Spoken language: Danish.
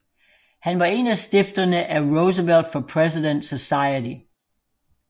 Han var en af stifterne af Roosevelt for President Society